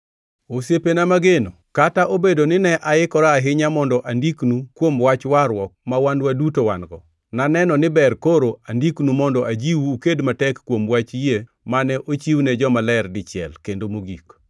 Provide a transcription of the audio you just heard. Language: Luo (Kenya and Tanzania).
Osiepena mageno, kata obedo ni ne aikora ahinya mondo andiknu kuom wach warruok ma wan duto wan-go, naneno ni ber koro andiknu mondo ajiwu uked matek kuom wach yie mane ochiwne jomaler dichiel kendo mogik.